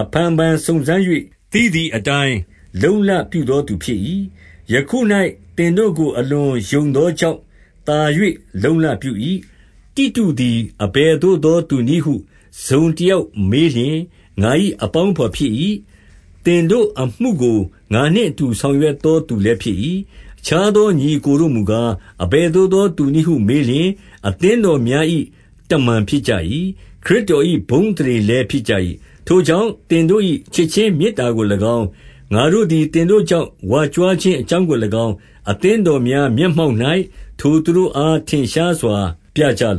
အဖန်ဖန်စုံစမ်း၍ သိသည့်အတိုင်း လုံ့လပြုသောသူဖြစ်၏။ ယခု၌ သင်တို့ကိုအလွန်ယုံသောကြောင့် သာ၍ လုံ့လပြု၏။ 23 တိတုသည်အဘယ်သို့သောသူနည်းဟု တစုံတယောက်မေးလျှင်ငါ၏အပေါင်းအဘော်ဖြစ်၏။ သင်တို့ အမှုကိုငါနှင့်အတူ ဆောင်ရွက်သောသူလည်း ဖြစ်၏။ အခြားသော ညီအစ်ကိုတို့မူကား၊ အဘယ်သို့သောသူ နည်းဟုမေးလျှင်၊ အသင်းတော်များ၏ တမန်ဖြစ်ကြ၏။ ခရစ်တော်၏ဘုန်းအသရေလည်း ဖြစ်ကြ၏။ 24 ထိုကြောင့်၊ သင်တို့၏ချစ်ခြင်းမေတ္တာကို၎င်း၊ ငါတို့သည်သင်တို့ကြောင့် ကြွားဝါခြင်းအကြောင်းကို၎င်း၊ အသင်းတော်များမျက်မှောက်၌ ထိုသူတို့အား ထင်ရှားစွာပြကြလ